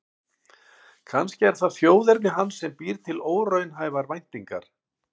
Kannski er það þjóðerni hans sem býr til óraunhæfar væntingar.